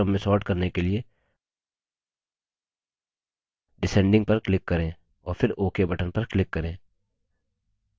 उसी तरह अवरोही क्रम में sort करने के लिए descending पर click करें और फिर ok button पर click करें